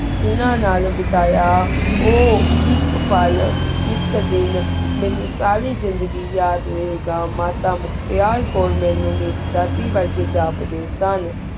ਉਨਾ ਨਾਲ ਬੇਤਾਯਾ ਊ ਏਕ ਪੇਲ ਏਕ ਦੇਣ ਮੀਨੁ ਸਾਰੀ ਜ਼ੇਨ੍ਦ੍ਘੀ ਯਾਦ ਰਹੀ ਘ ਮਾਤਾ ਮੁਖ੍ਤੇਯਾ ਮੀਨੁ ਮੇਰੀ ਦਾਦੀ ਵੇਰ੍ਘੀ ਜਬ ਦੀ ਸੁਨ